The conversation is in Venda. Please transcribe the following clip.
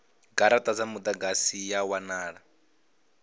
garata dza mudagasi ya wanala